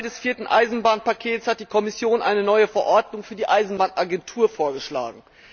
Als Teil des vierten Eisenbahnpakets hat die Kommission eine neue Verordnung für die Eisenbahnagentur vorgeschlagen.